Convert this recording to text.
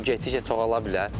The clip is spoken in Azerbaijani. Bu getdikcə çoxalana bilər.